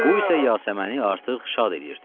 Bu isə Yasəməni artıq şad eləyirdi.